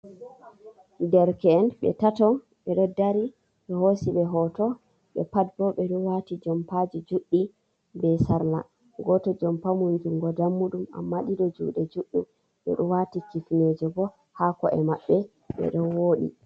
Derke’en ɓe tatto, ɓeɗo dari ɓe hosiɓe hoto, ɓe pat bo ɓeɗo wati jompaji juɗɗi be sarla, goto jompa mun junngo dammuɗum amma ɗiɗo juɗe juɗɗum, ɓeɗo wati kifneje bo ha ko’e maɓɓe ɓeɗo wooɗi.